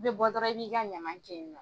I bɛ bɔ dɔrɔn i b'i ka ɲaman kɛ yen nɔ.